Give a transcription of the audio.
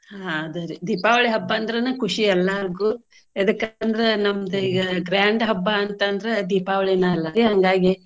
ಹಾ ಅದೇ ದೀಪಾವಳಿ ಹಬ್ಬ ಅಂದ್ರನ ಖುಷಿ ಎಲ್ಲಾರ್ಗು. ಎದಕ್ಕ ಅಂದ್ರ ನಮ್ದ grand ಹಬ್ಬಾ ಅಂತ ಅಂದ್ರ ದೀಪಾವಳಿನ ಅಲ್ಲಾ ಹಂಗಾಗಿ.